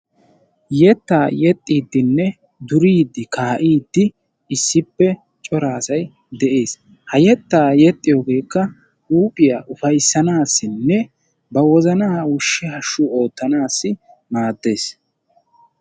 yetta yeexxidinne suridi kaa'idi cora asay issippe de'ees. ha yetta yeexxiyooge huuphiyaa ufayssasinne ba wozana hashshu oottanassi maaddees.